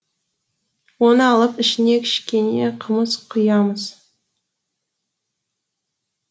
оны алып ішіне кішкене қымыз құямыз